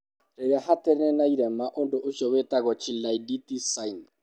Rĩrĩa hatarĩ na irema, ũndũ ũcio wĩtagwo Chilaiditi's sign.